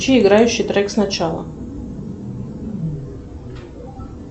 включи играющий трек сначала